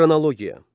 Xronologiya.